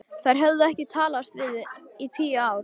Þær höfðu ekki talast við í tíu ár.